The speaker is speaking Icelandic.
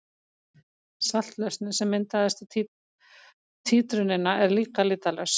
Saltlausnin sem myndast við títrunina er líka litarlaus.